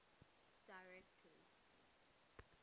directors